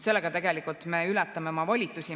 Sellega me ületame oma volitusi.